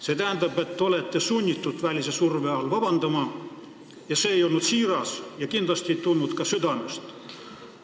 See tähendab, et te olete sunnitud välise surve all vabandama ja see ei olnud siiras ja kindlasti ei tulnud ka südamest.